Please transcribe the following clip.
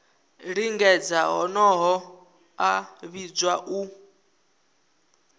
lingedza honoho a vhidzwa u